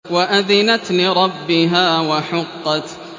وَأَذِنَتْ لِرَبِّهَا وَحُقَّتْ